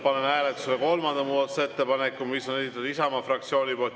Panen hääletusele kolmanda muudatusettepaneku, mis on esitatud Isamaa fraktsiooni poolt.